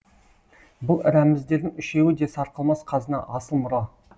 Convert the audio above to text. бұл рәміздердің үшеуі де сарқылмас қазына асыл мұра